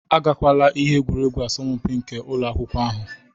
Agakwala ihe egwuregwu asọmpi nke ụlọ akwụkwọ ahụ